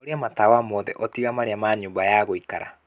horia matawa mothe o tiga marĩa ma nyũmba ya guikara